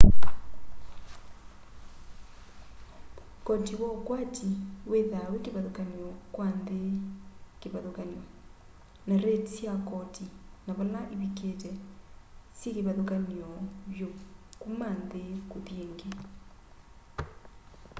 koti wa ukwati withwaa wi kivathukany'o kwa nthi kivathukany'o na rate sya koti na vala ivikite syikivathukany'o vyu kuma nthi kuthi ingi